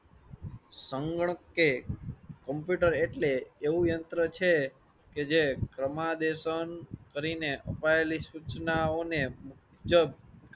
સંગ કે કમ્પ્યુટર એટલે એવું યંત્ર છે જે ક્રમાદેશન કરી ને અપાયેલી સુચનાઓ ને મુજબ